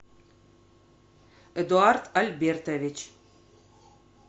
эдуард альбертович